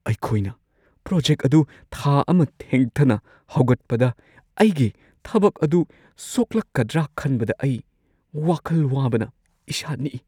ꯑꯩꯈꯣꯏꯅ ꯄ꯭ꯔꯣꯖꯦꯛ ꯑꯗꯨ ꯊꯥ ꯑꯃ ꯊꯦꯡꯊꯅ ꯍꯧꯒꯠꯄꯗ, ꯑꯩꯒꯤ ꯊꯕꯛ ꯑꯗꯨ ꯁꯣꯛꯂꯛꯀꯗ꯭ꯔ ꯈꯟꯕꯗ ꯑꯩ ꯋꯥꯈꯜ ꯋꯥꯕꯅ ꯏꯁꯥ ꯅꯤꯛꯏ꯫